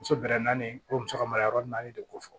Muso bɛrɛ naani o muso ka mara yɔrɔ naani de ko fɔ